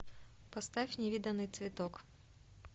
поставь невиданный цветок